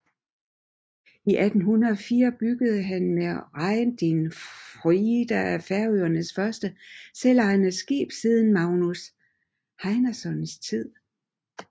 I 1804 byggede han med Royndin Fríða Færøernes første selvejede skib siden Magnus Heinasons tid